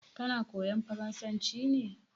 Kana koyan farasanci ne?